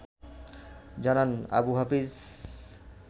জানান আবু হাফিজ